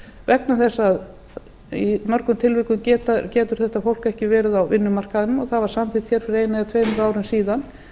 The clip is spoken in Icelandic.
vegna þess að í mörgum tilvikum getur þetta fólk ekki verið á vinnumarkaðnum og það voru samþykkt hér fyrir einu eða tveimur árum síðan